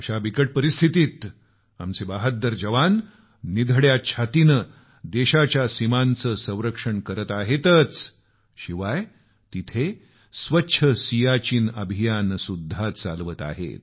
अशा बिकट परिस्थितीत आमचे बहाद्दर जवान छाती ताणून देशाच्या सीमांचं संरक्षण करत आहेतच पण तिथं स्वच्छ सियाचीन अभियान चालवत आहेत